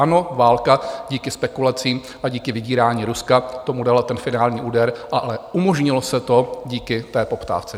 Ano, válka díky spekulacím a díky vydírání Ruska tomu dala ten finální úder, ale umožnilo se to díky té poptávce.